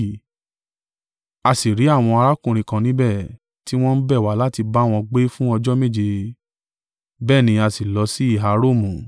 A sì rí àwọn arákùnrin kan níbẹ̀, tí wọ́n sì bẹ̀ wá láti bá wọn gbé fún ọjọ́ méje: bẹ́ẹ̀ ni a sì lọ sí ìhà Romu.